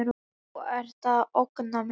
Þú ert að ógna mér.